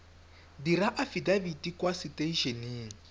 dira afidafiti kwa setei eneng